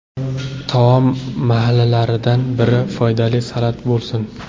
Taom mahallaridan biri foydali salat bo‘lsin.